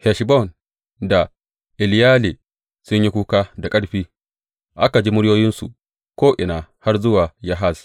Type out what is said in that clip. Heshbon da Eleyale sun yi kuka da ƙarfi, aka ji muryoyinsu ko’ina har zuwa Yahaz.